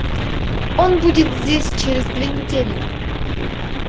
он будет здесь через две недели